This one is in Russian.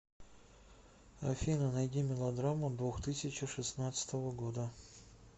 афина найди мелодраму двухтысячи шестнадцатого года